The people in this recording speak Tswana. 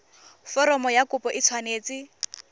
foromo ya kopo e tshwanetse